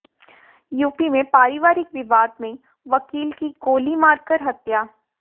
UP में पारिवारिक विवाद में वकील की गोली मारकर हत्या